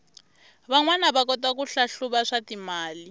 vanwana va kota ku hlahluva swatimali